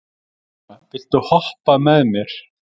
Úna, viltu hoppa með mér?